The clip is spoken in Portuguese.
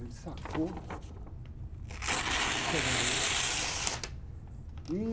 Ele sacou o, né? E...